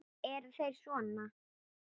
Eru þeir sona?